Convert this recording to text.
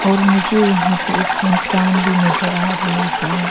और मुझे यहां पे एक इंसान भी नजर आ रही ही है।